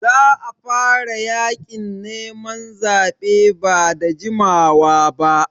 Za a fara yaƙin neman zaɓe ba da jimawa ba.